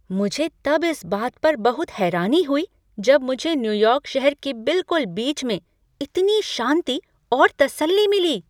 मुझे तब इस बात पर बहुत हैरानी हुई जब मुझे न्यूयॉर्क शहर के बिलकुल बीच में इतनी शांति और तसल्ली मिली।